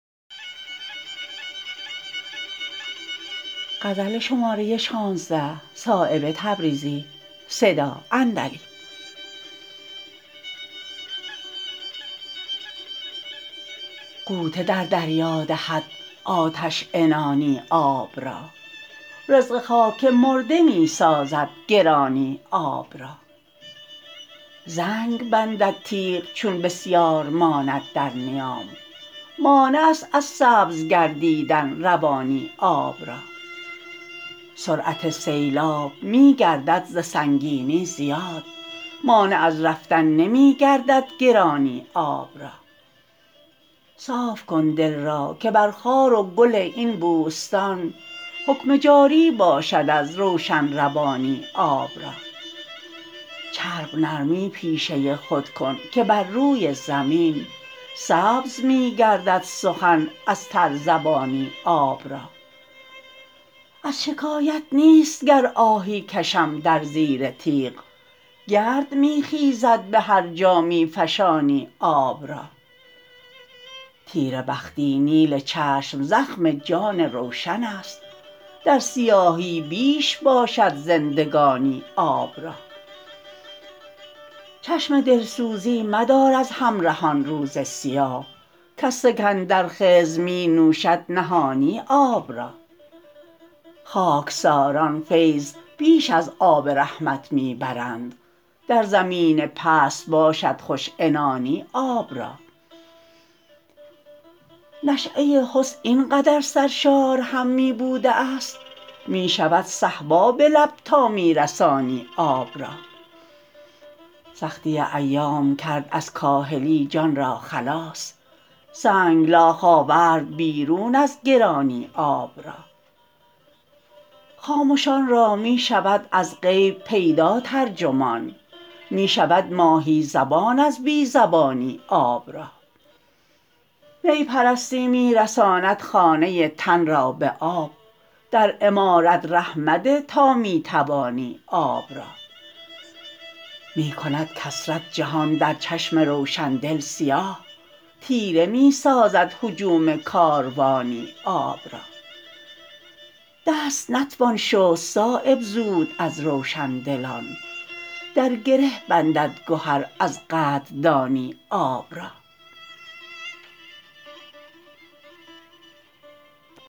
غوطه در دریا دهد آتش عنانی آب را رزق خاک مرده می سازد گرانی آب را زنگ بندد تیغ چون بسیار ماند در نیام مانع است از سبز گردیدن روانی آب را سرعت سیلاب می گردد ز سنگینی زیاد مانع از رفتن نمی گردد گرانی آب را صاف کن دل را که بر خار و گل این بوستان حکم جاری باشد از روشن روانی آب را چرب نرمی پیشه خود کن که بر روی زمین سبز می گردد سخن از ترزبانی آب را از شکایت نیست گر آهی کشم در زیر تیغ گرد می خیزد به هر جا می فشانی آب را تیره بختی نیل چشم زخم جان روشن است در سیاهی بیش باشد زندگانی آب را چشم دلسوزی مدار از همرهان روز سیاه کز سکندر خضر می نوشد نهانی آب را خاکساران فیض بیش از آب رحمت می برند در زمین پست باشد خوش عنانی آب را نشأه حسن این قدر سرشار هم می بوده است می شود صهبا به لب تا می رسانی آب را سختی ایام کرد از کاهلی جان را خلاص سنگلاخ آورد بیرون از گرانی آب را خامشان را می شود از غیب پیدا ترجمان می شود ماهی زبان از بی زبانی آب را می پرستی می رساند خانه تن را به آب در عمارت ره مده تا می توانی آب را می کند کثرت جهان در چشم روشندل سیاه تیره می سازد هجوم کاروانی آب را دست نتوان شست صایب زود از روشندلان در گره بندد گهر از قدردانی آب را